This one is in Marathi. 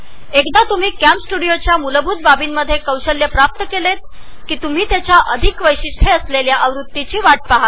एकदा का तुम्ही कॅमस्टुडिओच्या मुलभूत वैशिष्ट्यांमध्ये कौशल्य प्राप्त केले तर तुम्ही याच्या सुधारीत वैशिष्ट्ये असलेल्या पुढच्या आवृत्तीची वाट पहाल